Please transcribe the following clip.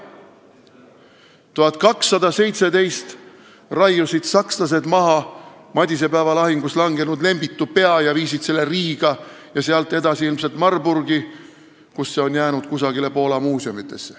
Aastal 1217 raiusid sakslased maha madisepäeva lahingus langenud Lembitu pea ja viisid selle Riiga, sealt edasi ilmselt Marburgi, kust see on jäänud kusagile Poola muuseumi.